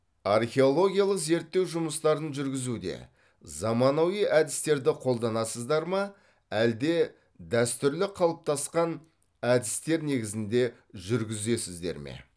археологиялық зерттеу жұмыстарын жүргізуде заманауи әдістерді қолданасыздар ма әлде дәстүрлі қалыптасқан әдістер негізінде жүргізесіздер ме